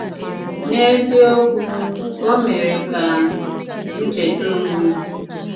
N’eziokwu, ò mere ka m chèta onwe m.